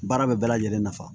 Baara bɛ lajɛlen nafa